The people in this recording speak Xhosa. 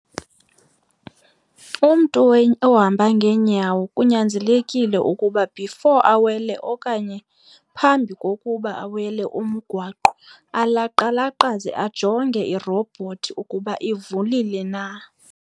Umntu ohamba ngeenyawo kunyanzelekile ukuba before awele okanye phambi kokuba awele umgwaqo alaqalaqaze ajonge irobhothi ukuba ivulile na.